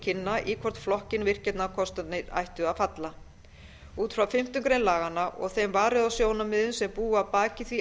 kynna í hvorn flokkinn virkjunarkostirnir ættu að falla út frá fimmtu grein laganna og þeim varúðarsjónarmiðum sem búa að baki því